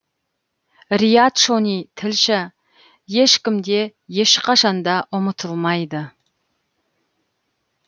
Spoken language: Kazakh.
риат шони тілші ешкім де ешқашанда ұмытылмайды